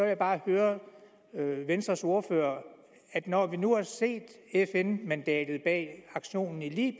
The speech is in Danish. jeg bare høre venstres ordfører når vi nu har set fn mandatet bag aktionen i